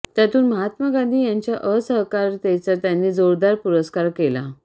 त्यातून महात्मा गांधी यांच्या असहकारितेचा त्यांनी जोरदार पुरस्कार केला